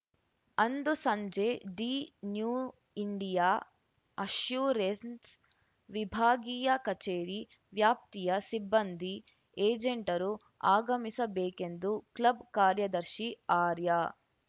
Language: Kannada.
ಅಂದು ಸಂಜೆ ದಿ ನ್ಯೂ ಇಂಡಿಯಾ ಅಶ್ಯೂರೆನ್ಸ್‌ ವಿಭಾಗೀಯ ಕಛೇರಿ ವ್ಯಾಪ್ತಿಯ ಸಿಬ್ಬಂದಿ ಏಜೆಂಟರು ಆಗಮಿಸಬೇಕೆಂದು ಕ್ಲಬ್‌ ಕಾರ್ಯದರ್ಶಿ ಆರ್ಯ